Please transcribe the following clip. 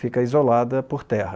Fica isolada por terra.